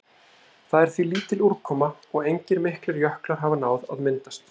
Þar er því lítil úrkoma og engir miklir jöklar hafa náð að myndast.